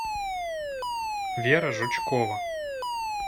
вера жучкова